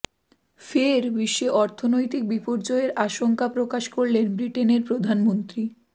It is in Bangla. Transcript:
ফের বিশ্বে অর্থনৈতিক বিপর্যয়ের আশঙ্কা প্রকাশ করলেন ব্রিটেনের প্রধানমন্ত্রী